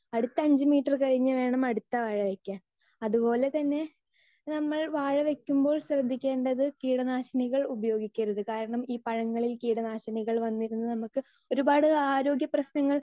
speaker 2 അടുത്ത അഞ്ച് metre കഴിഞ്ഞ് വേണം അടുത്ത വാഴ വെക്കാൻ അതുപോലെതന്നെ നമ്മൾ വാഴ വെക്കുമ്പോൾ ശ്രദ്ധിക്കേണ്ടത് കീടനാശിനികൾ ഉപയോഗിക്കരുത് കാരണം ഈ പഴങ്ങളിൽ കീടനാശിനികൾ വന്നിരുന്ന് നമുക്ക് ഒരുപാട് ആരോഗ്യ പ്രശ്നങ്ങൾ